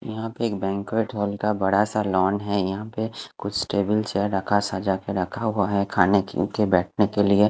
यहाँ पे एक बेनकट हॉल का बड़ा सा लॉर्न है यहाँ पे कुछ टेबल चेयर रखा सजाके रखा हुआ है खाने के उनके बेटने के लिए--